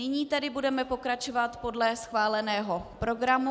Nyní tedy budeme pokračovat podle schváleného programu.